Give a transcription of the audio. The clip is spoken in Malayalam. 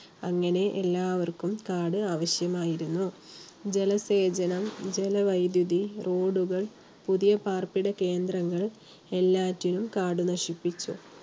അങ്ങനെ എല്ലാവർക്കും കാട് ആവശ്യമായിരുന്നു. ജലസേചനം, ജലവൈദ്യുതി, road ഉകൾ പുതിയ പാർപ്പിട കേന്ദ്രങ്ങൾ എല്ലാറ്റിനും കാട് നശിപ്പിച്ചു.